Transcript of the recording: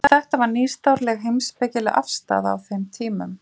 Þetta var nýstárleg heimspekileg afstaða á þeim tímum.